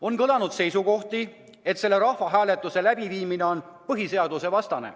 On kõlanud seisukohti, et selle rahvahääletuse läbiviimine on põhiseadusvastane.